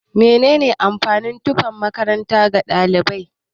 Mene ne amfanin tufan makaranta ga ɗalibai?